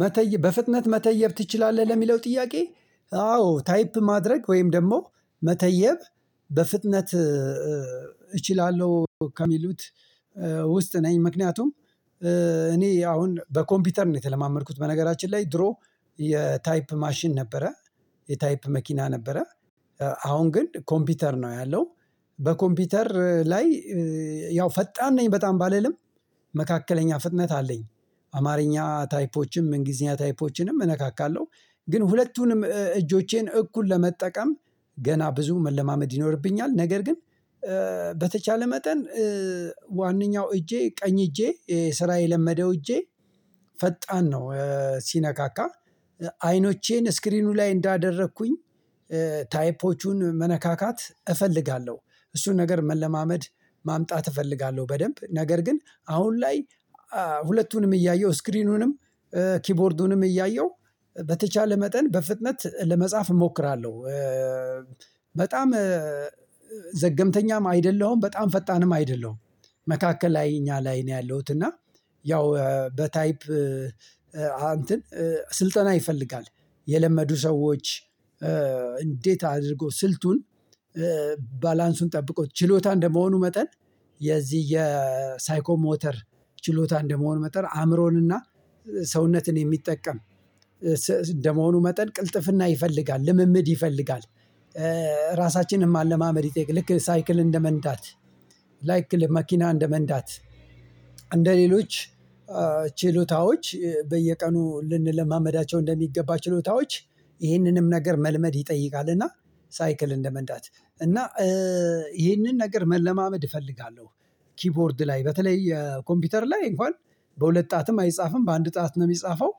መተየብ በፍጥነት መተየብ ትችላለህ ለሚለው ጥያቄ አዎ ታይፕ ማድረግ ወይም ደግሞ መተየብ በፍጥነት እችላለሁ ከሚሉት ውስጥ ነኝ። ምክንያቱም እኔ አሁን በኮምፒውተር ነው የተለማመድኩት በነገራችን ላይ ድሮ የታይፕ ማሽን ነበረ የታይፕ መኪና ነበረ አሁን ግን ኮምፒውተር ነው ያለው። በኮምፒውተር ላይ ያው ፈጣን ነኝ በጣም ባልልም መካከለኛ ፍጥነት አለኝ። አማርኛ ታይፖችንም እንግሊዝኛ ታይፖችንም እነካካለሁ ግን ሁለቱንም እጆቼን እኩል ለመጠቀም ገና ብዙ መለማመድ ይኖርብኛል። ነገር ግን በተቻለ መጠን ዋናኛው እጄ ቀኝ እጄ ስራ የለማመደው እጄ ፈጣን ነው። ሲነካካ አይኖቼን ስክሪኑ ላይ እንዳደረግኩኝ ታይፖቹን መነካካት እፈልጋለሁ። እሱን ነገር መለማመድ ማምጣት እፈልጋለሁ በደንብ ነገር ግን አሁን ላይ ሁለቱንም እያየሁ ስክሪኑንም ኪቦርዱንም እያየሁ በተቻለ መጠን በፍጥነት ለመጻፍ እሞክራለሁ። በጣም ዘገምተኛም አይደለሁም በጣም ፈጣንም አይደለሁም። መካከለኛ ላይ ነኝ ያለሁት እና ያው በታይፕ እንትን ስልጠና ይፈልጋል። የለመዱ ሰዎች እንዴት አድርገው ሥልጡን? ባላንሱን ጠብቀው ችሎታ እንደሚሆኑ መጠን የዚህ የሳይኮሞተር ችሎታ እንደሚሆኑ መጠን አእምሮንና ሰውነትን የሚጠቀም እንደሚሆኑ መጠን ቅልጥፍና ይፈልጋል ልምምድ ይፈልጋል። ራሳችንንም መለማመድ ይጠይቃል ልክ ሳይክል እንደመንዳት ላይክል መኪና እንደመንዳት እንደሌሎች ችሎታዎች በየቀኑ ልንለማመዳቸው እንደሚገባ ችሎታዎች ይህንንም ነገር መልመድ ይጠይቃል። እና ሳይክል እንደመንዳት እና ይህንን ነገር መለማመድ እፈልጋለሁ። ኪቦርድ ላይ በተለይ ኮምፒውተር ላይ እንኳን በሁለት ጣት አይጻፍም በአንድ ጣት ነው የሚጻፈው።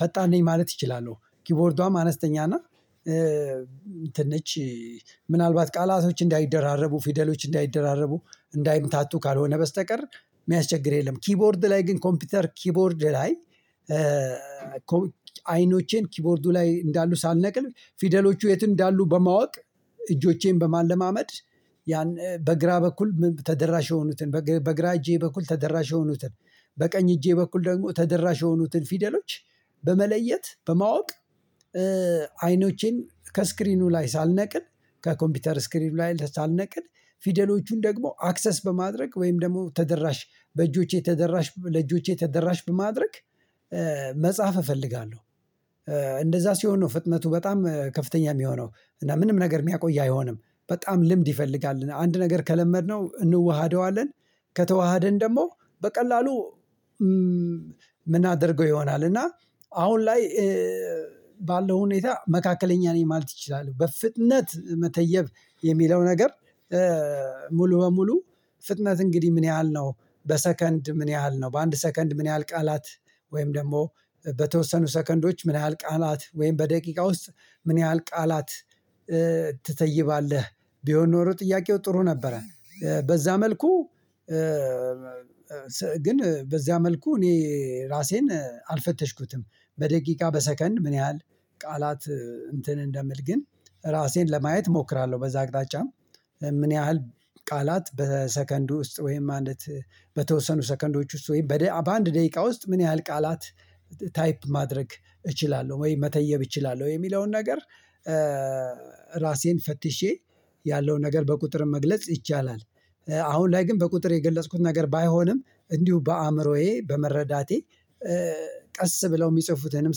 ፈጣን ነኝ ማለት እችላለሁ ኪቦርዷም አነስተኛ እና እንትን ናት። ምን አልባት ቃላቶች እንዳይደራረቡ ፊደሎች እንዳይደራረቡ እንዳይንጣጡ ካልሆነ በስተቀር የሚያስቸግር የለም። ኪቦርድ ላይ ግን ኮምፒውተር ኪቦርድ ላይ። አይኖቼን ኪቦርዱ ላይ እንዳሉ ሳልነቅል ፊደሎቹ የት እንዳሉ በማወቅ እጆቼን በማለማመድ ያን በግራ በኩል ተደራሽ የሆኑትን በግራ እጅ በኩል ተደራሽ የሆኑትን በቀኝ እጅ በኩል ደግሞ ተደራሽ የሆኑትን ፊደሎች በመለየት በማወቅ አይኖቼን ከስክሪኑ ላይ ሳልነቅል ከኮምፒውተር ስክሪን ላይ ሳልነቅል ፊደሎችን ደግሞ አክሰስ በማድረግ ወይም ደግሞ ተደራሽ በእጆቼ ተደራሽ ለእጆቼ ተደራሽ በማድረግ መጻፍ እፈልጋለሁ። እንደዛ ሲሆን ነው ፍጥነቱ በጣም ከፍተኛ የሚሆነው እና ምንም ነገር የሚያቆይ አይሆንም። በጣም ልምድ ይፈልጋል አንድ ነገር ከተለማመድነው እንዋሃደዋለን። ከተዋሃድን ደግሞ በቀላሉ ምን አድርገው ይሆናል? እና አሁን ላይ ባለው ሁኔታ መካከለኛ ነኝ ማለት እችላል በፍጥነት መተየብ የሚለው ነገር። ሙሉ በሙሉ ፍጥነት እንግዲህ ምን ያህል ነው በሰከንድ ምን ያህል ነው በአንድ ሰከንድ ምን ያህል ቃላት ወይም ደግሞ በተወሰኑ ሰከንዶች ምን ያህል ቃላት ወይም በደቂቃ ውስጥ ምን ያህል ቃላት ትተይባለህ? ቢሆን ኖሮ ጥያቄው ጥሩ ነበረ። በዚያ መልኩ ግን በዚያ መልኩ እኔ ራሴን አልፈተሽኩትም። በደቂቃ በሰከንድ ምን ያህል ቃላት እንትን እንደሚል ግን ራሴን ለማየት እሞክራለሁ። በዚያ አቅጣጫ ምን ያህል ቃላት በሰከንድ ውስጥ ወይም አንዲት በተወሰኑ ሰከንዶች ውስጥ ወይም በአንድ ደቂቃ ውስጥ ምን ያህል ቃላት ታይፕ ማድረግ እችላለሁ ወይ መተየብ እችላለሁ ወይ የሚለውን ነገር? ራሴን ፈትሼ ያለውን ነገር በቁጥር መግለጽ ይቻላል። አሁን ላይ ግን በቁጥር የገለጽኩት ነገር ባይሆንም እንዲሁ በአእምሮዬ በመረዳቴ ቀስ ብለው የሚጽፉትንም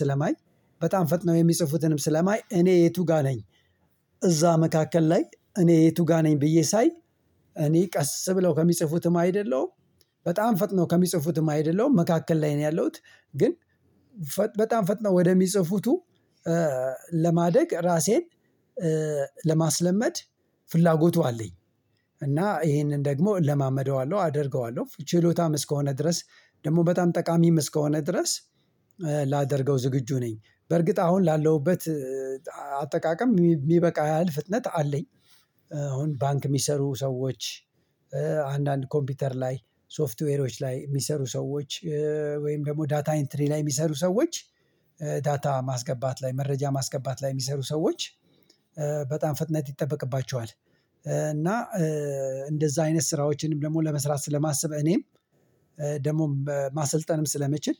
ስለማይ በጣም ፈጥነው የሚጽፉትንም ስለማይ እኔ የቱ ጋር ነኝ? እዛ መካከል ላይ እኔ የቱ ጋር ነኝ ብዬሳይ። እኔ ቀስ ብለው ከሚጽፉትም አይደለሁም። በጣም ፈጥነው ከሚጽፉትም አይደለም መካከል ላይ ነው ያለሁት። ግን በጣም ፈጥነው ወደሚጽፉት ለማደግ ራሴን ለማስለመድ ፍላጎቱ አለኝ። እና ይህንን ደግሞ እለማመደዋለሁ አደርገዋለሁ ችሎታም እስክሆነ ድረስ ደግሞ በጣም ጠቃሚም እስክሆነ ድረስ ላደርገው ዝግጁ ነኝ። በእርግጥ አሁን ላለሁበት አጠቃቀም የሚበቃ ያህል ፍጥነት አለኝ። አሁን ባንክ የሚሰሩ ሰዎች አንዳንድ ኮምፒውተር ላይ ሶፍትዌሮች ላይ የሚሰሩ ሰዎች ወይም ደግሞ ዳታኤንትሪ ላይ የሚሰሩ ሰዎች ዳታ ማስገባት ላይ መረጃ ማስገባት ላይ የሚሰሩ ሰዎች በጣም ፍጥነት ይጠበቅባቸዋል። እና እንደዛ አይነት ስራዎችንም ደግሞ ለመስራት ስላስብኩ እኔም ደግሞ ማሰልጠንም ስለሚችል